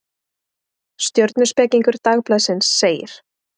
Stjörnuspekingur Dagblaðsins segir: